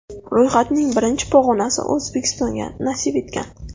Ro‘yxatning birinchi pog‘onasi O‘zbekistonga nasib etgan.